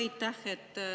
Aitäh!